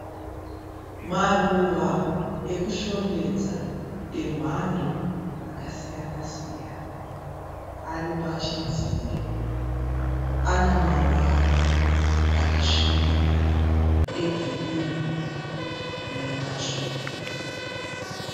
Maruva ekushongedza emhando dzakasiyana siyana aripachidziro anamavara akasvibirira egirini nematsvuku.